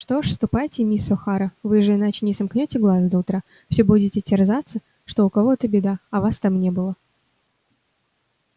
что ж ступайте миссис охара вы же иначе не сомкнёте глаз до утра всё будете терзаться что у кого-то беда а вас там не было